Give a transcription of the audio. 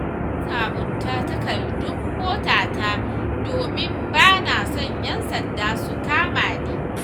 Na sabunta takardun motata domin ba na so 'yan sanda su kama ni.